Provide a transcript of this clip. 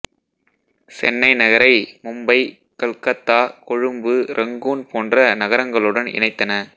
சென்னை நகரை மும்பை கல்கத்தா கொழும்பு ரங்கூன் போன்ற நகரங்களுடன் இணைத்தன